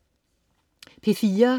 P4: